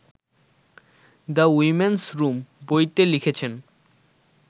‘the women's room’ বইতে লিখেছেন